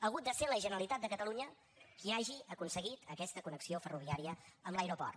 ha hagut de ser la generalitat de catalunya qui hagi aconseguit aquesta connexió ferroviària amb l’aeroport